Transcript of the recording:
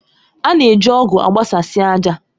A na-eji ọ̀gu agbasasi ájà.